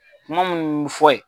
Kuma minnu bɛ fɔ yen.